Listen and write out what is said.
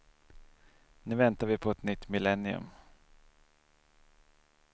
Nu väntar vi på ett nytt millennium.